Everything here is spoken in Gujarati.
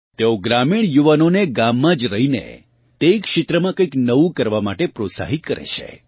તેઓ ગ્રામીણ યુવાનો ને ગામમાં જ રહીને તે ક્ષેત્રમાં કંઇક નવું કરવા માટે પ્રોત્સાહિત કરે છે